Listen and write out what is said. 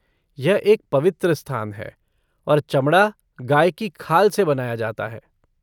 यह एक पवित्र स्थान है और चमड़ा गाय की खाल से बनाया जाता है।